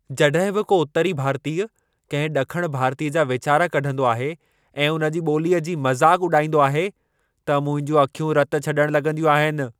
जॾहिं बि को उत्तरी भारतीय कंहिं ॾखण भारतीय जा वेचारा कढंदो आहे ऐं उन जी ॿोलीअ जी मज़ाक उॾाईंदो आहे, त मुंहिंजूं अखियूं रत छॾण लॻंदियूं आहिनि।